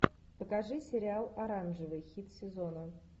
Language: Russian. покажи сериал оранжевый хит сезона